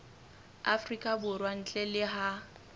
afrika borwa ntle le ha